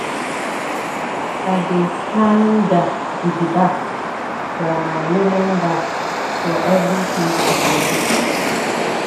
I dey standa gidigba for my woman back for everytin she dey do.